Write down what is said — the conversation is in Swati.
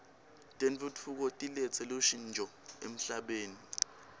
tentfutfuko tiletse lushntjo emhlabeni